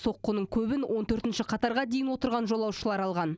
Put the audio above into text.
соққының көбін он төртінші қатарға дейін отырған жолаушылар алған